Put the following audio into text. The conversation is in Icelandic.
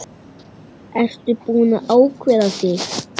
Ertu búinn að ákveða þig?